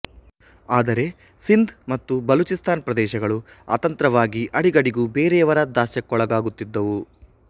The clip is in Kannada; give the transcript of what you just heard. ಆದರೆ ಸಿಂಧ್ ಮತ್ತು ಬಲೂಚಿಸ್ತಾನ್ ಪ್ರದೇಶಗಳು ಅತಂತ್ರವಾಗಿ ಅಡಿಗಡಿಗೂ ಬೇರೆಯವರ ದಾಸ್ಯಕ್ಕೊಳಗಾಗುತ್ತಿದ್ದುವು